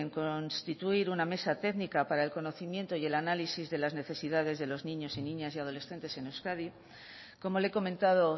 con constituir una mesa técnica para el conocimiento y el análisis de las necesidades de los niños y niñas y adolescentes en euskadi como le he comentado